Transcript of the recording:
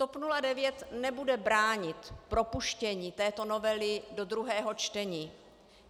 TOP 09 nebude bránit propuštění této novely do druhého čtení.